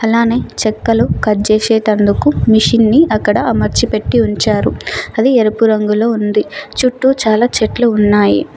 అలానే చెక్కలు కట్ జేసేటందుకు మిషిన్ ని అక్కడ అమర్చి పెట్టి ఉంచారు. అది ఎరుపు రంగులో ఉంది. చుట్టూ చాలా చెట్లు ఉన్నాయి.